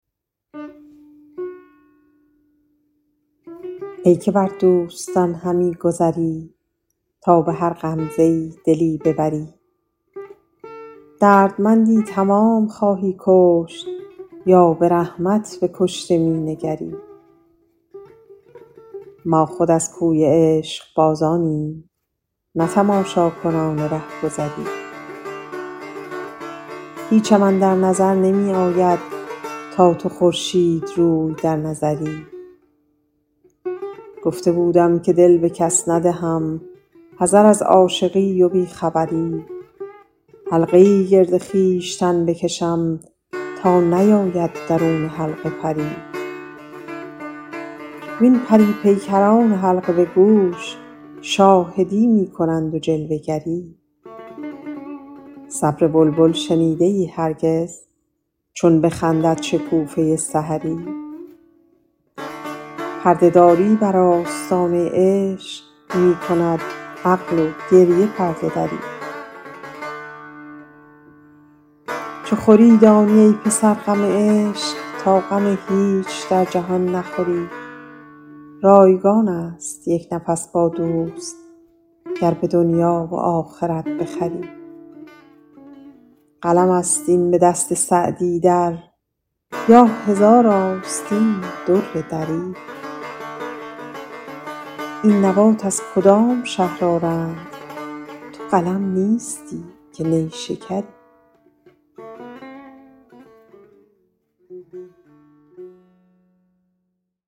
ای که بر دوستان همی گذری تا به هر غمزه ای دلی ببری دردمندی تمام خواهی کشت یا به رحمت به کشته می نگری ما خود از کوی عشقبازانیم نه تماشاکنان رهگذری هیچم اندر نظر نمی آید تا تو خورشیدروی در نظری گفته بودم که دل به کس ندهم حذر از عاشقی و بی خبری حلقه ای گرد خویشتن بکشم تا نیاید درون حلقه پری وین پری پیکران حلقه به گوش شاهدی می کنند و جلوه گری صبر بلبل شنیده ای هرگز چون بخندد شکوفه سحری پرده داری بر آستانه عشق می کند عقل و گریه پرده دری چو خوری دانی ای پسر غم عشق تا غم هیچ در جهان نخوری رایگان است یک نفس با دوست گر به دنیا و آخرت بخری قلم است این به دست سعدی در یا هزار آستین در دری این نبات از کدام شهر آرند تو قلم نیستی که نیشکری